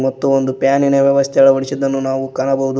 ಮತ್ತು ಒಂದು ಪ್ಯಾನ್ ಇನ ವ್ಯವಸ್ಥೆಯನ್ನು ಅಳವಡಿಸಿದ್ದನ್ನು ನಾವು ಕಾಣಬಹುದು.